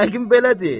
Yəqin belədir.